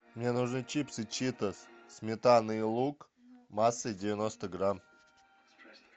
мне нужны чипсы читос сметана и лук массой девяносто грамм